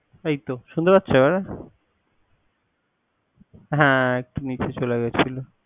এইতো শুনতে পাচ্ছো এবারে? হ্যা একটু নিচে চলে গেছিল।